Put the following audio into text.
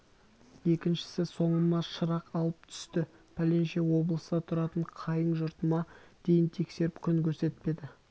екіншісі соңыма шырақ алып түсті пәленше облыста тұратын қайын жұртыма дейін тексеріп күн көрсетпеді